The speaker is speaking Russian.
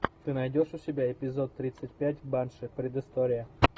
ты найдешь у себя эпизод тридцать пять банши предыстория